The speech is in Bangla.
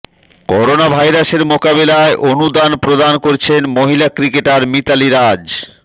করোনা ভাইরাসের মোকাবিলায় অনুদান প্রদান করেছেন মহিলা ক্রিকেটার মিতালী রাজ